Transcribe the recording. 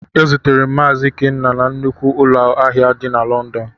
E zutere m Mazi Ikenna na nnukwu ụlọ ahịa di na Lọndọn.